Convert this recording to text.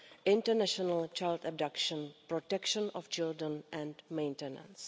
international child abduction, the protection of children and maintenance.